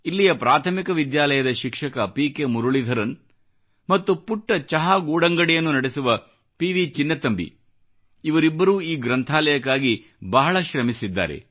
ಇಲ್ಲಿಯ ಪ್ರಾಥಮಿಕ ವಿದ್ಯಾಲಯದ ಶಿಕ್ಷಕ ಪಿ ಕೆ ಮುರುಳಿಧರನ್ ಮತ್ತು ಪುಟ್ಟ ಚಹಾ ಗೂಡಂಗಡಿಯನ್ನು ನಡೆಸುವ ಪಿ ವಿ ಚಿನ್ನತಂಬಿ ಇವರಿಬ್ಬರೂ ಈ ಗ್ರಂಥಾಲಯಕ್ಕಾಗಿ ಬಹಳ ಶ್ರಮಿಸಿದ್ದಾರೆ